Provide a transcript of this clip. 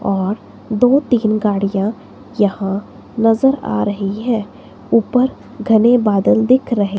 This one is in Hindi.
और दो तीन गाड़ियां यहां नज़र आ रही है ऊपर घने बादल दिख रहे--